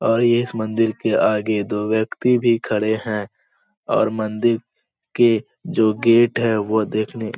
और इस मंदिर के आगे दो व्यक्ति भी खड़े है और मंदिर के जो गेट है वो देखने --